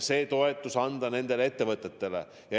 Sellise toetuse võiks anda nendele ettevõtetele.